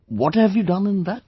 What have you done in that